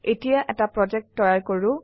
এতিয়া এটা প্ৰজেক্ট তৈয়াৰ কৰো